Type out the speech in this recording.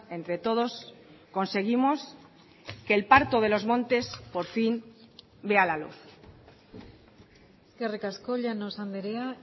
entre todos conseguimos que el parto de los montes por fin vea la luz eskerrik asko llanos andrea